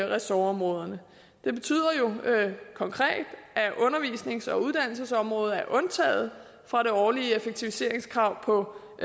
ressortområderne det betyder jo konkret at undervisnings og uddannelsesområdet er undtaget fra det årlige effektiviseringskrav på